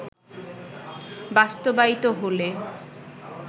বাস্তবায়িত হলে